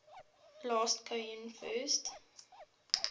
last cohen first